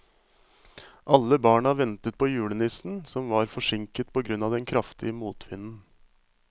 Alle barna ventet på julenissen, som var forsinket på grunn av den kraftige motvinden.